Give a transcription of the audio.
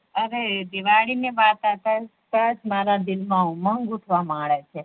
અરે દિવાળી ની વાત અવતાજ મારા દિલ મા ઉમંગ ઉઠવા માળે છે